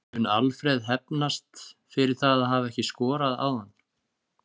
Mun Alfreð hefnast fyrir það að hafa ekki skorað áðan?